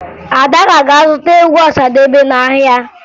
Ada ga-aga zụta egwu Ọsadebe n'ahịa